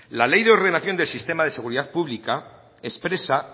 la ley de ordenación del sistema de seguridad pública expresa